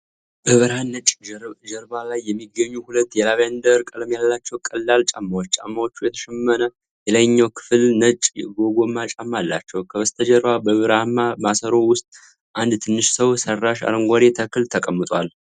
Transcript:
በብርሃን ነጭ ጀርባ ላይ የሚገኙ ሁለት የላቬንደር ቀለም ያላቸው ቀላል ጫማዎች። ጫማዎቹ የተሸመነ የላይኛው ክፍልና ነጭ የጎማ ጫማ አላቸው። ከበስተጀርባ በብርማ ማሰሮ ውስጥ አንድ ትንሽ ሰው ሰራሽ አረንጓዴ ተክል ተቀምጧል።